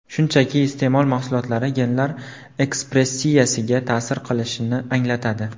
Shunchaki, iste’mol mahsulotlari genlar ekspressiyasiga ta’sir qilishini anglatadi.